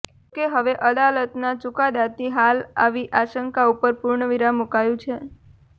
જોકે હવે અદાલતના ચુકાદાથી હાલ આવી આશંકા ઉપર પૂર્ણવિરામ મુકાયું છે